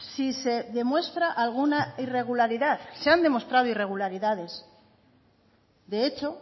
si se demuestra alguna irregularidad se han demostrado irregularidades de hecho